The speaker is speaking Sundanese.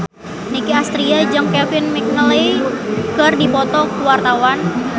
Nicky Astria jeung Kevin McNally keur dipoto ku wartawan